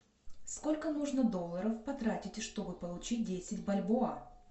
сколько нужно долларов потратить чтобы получить десять бальбоа